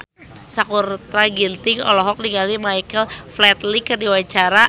Sakutra Ginting olohok ningali Michael Flatley keur diwawancara